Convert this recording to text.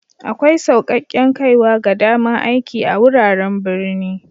Akwai saukaken kaiwa ga dama'n aiki a'wuraren birni.